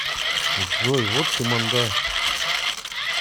джой вот ты манда